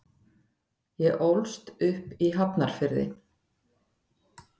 Ég ólst upp í Hafnarfirði.